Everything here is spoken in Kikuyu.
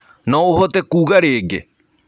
No ũhote kũga rĩĩngĩ.